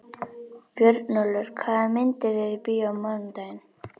Björnólfur, hvaða myndir eru í bíó á mánudaginn?